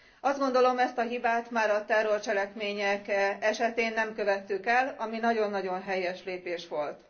Azt gondolom, ezt a hibát már a terrorcselekmények esetén nem követtük el, ami nagyon nagyon helyes lépés volt.